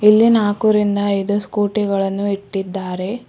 ಇಲ್ಲೇ ನಾಲ್ಕು ರಿಂದ ಐದು ಸ್ಕೂಟಿ ಗಳನ್ನು ಇಟ್ಟಿದ್ದಾರೆ.